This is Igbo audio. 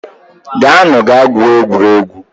Gawanu gaa gwuo egwuregwu